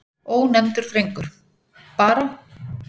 Ónefndur drengur: Bara.